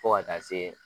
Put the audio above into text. Fo ka taa se